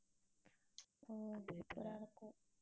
அஹ் super ஆ இருக்கும்.